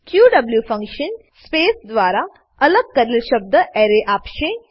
ક્યુએવ function space દ્વારા અલગ કરેલ શબ્દના એરે આપશે